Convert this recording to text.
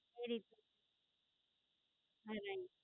Very good. Right?